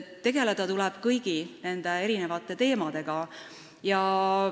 Tegeleda tuleb kõigi teemadega.